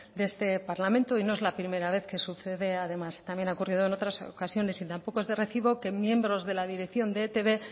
de este parlamento y no es la primera vez que sucede además también ha ocurrido en otras ocasiones y tampoco es de recibo que miembros de la dirección de etb